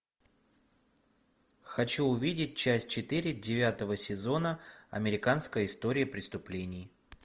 хочу увидеть часть четыре девятого сезона американская история преступлений